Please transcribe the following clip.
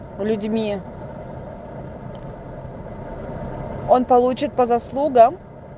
людьми он получит по заслугам